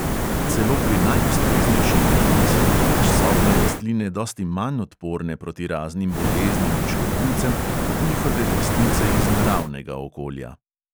Celo pri najustreznejši negi so namreč sobne rastline dosti manj odporne proti raznim boleznim in škodljivcem kot njihove vrstnice iz naravnega okolja.